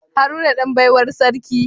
Haruna Dan baiwar sarki